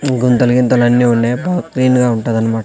గుంతలు గింతలు అన్నీ ఉన్నాయ్ బా క్లీన్ గా వుంటదన్మా--